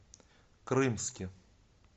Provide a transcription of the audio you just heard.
крымске